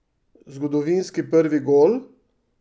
Zgodovinski prvi gol?